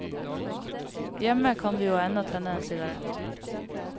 Hjemme kan vi jo ennå tenne en sigarett.